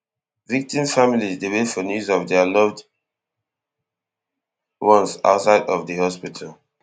victims families dey wait for news of dia loved ones outside of di hospital